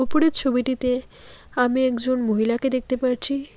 উপরের ছবিটিতে আমি একজন মহিলাকে দেখতে পারছি।